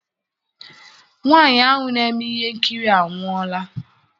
Nwaanyị ahụ na-eme ihe nkiri anwụọla.